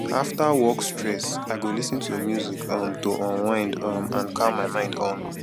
after work stress i go lis ten to music um to unwind um and calm my mind um